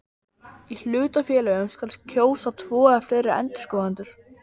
Í hlutafélögum skal kjósa tvo eða fleiri endurskoðendur.